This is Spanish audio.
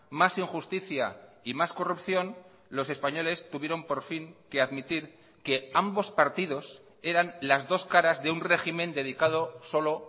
más injusticia y más corrupción los españoles tuvieron por fin que admitir que ambos partidos eran las dos caras de un régimen dedicado solo